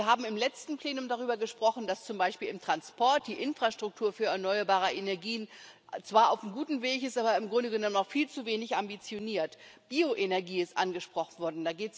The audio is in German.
Wir haben im letzten Plenum darüber gesprochen, dass zum Beispiel im Transport die Infrastruktur für erneuerbare Energien zwar auf einem guten Weg ist, aber im Grunde genommen noch viel zu wenig ambitioniert. Bioenergie ist angesprochen worden.